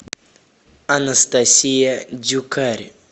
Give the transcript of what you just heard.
анастасия дюкарь